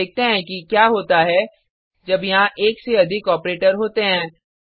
अब देखते हैं कि क्या होता है जब यहाँ एक से अधिक ऑपरेटर होते हैं